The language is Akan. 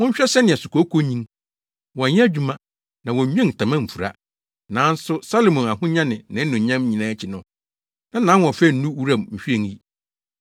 “Monhwɛ sɛnea sukooko nyin. Wɔnyɛ adwuma, na wɔnnwen ntama mfura. Nanso Salomo ahonya ne nʼanuonyam nyinaa akyi no, na nʼahoɔfɛ nnu wuram nhwiren yi.